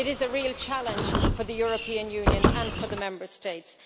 It is a real challenge for the European Union and for the Member States.